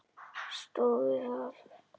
Stóð við það.